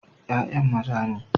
Ya'yan maza ne.